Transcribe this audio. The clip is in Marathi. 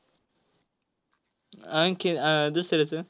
आणखी आह दुसऱ्याचं?